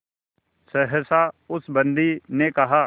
सहसा उस बंदी ने कहा